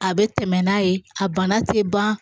A bɛ tɛmɛ n'a ye a bana tɛ ban